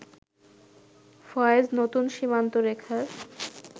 ফয়েজ নতুন সীমান্তরেখার